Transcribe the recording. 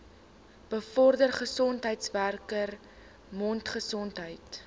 bevorder gesondheidswerkers mondgesondheid